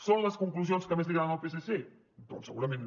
són les conclusions que més li agraden al psc doncs segurament no